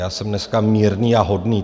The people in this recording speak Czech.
Já jsem dneska mírný a hodný.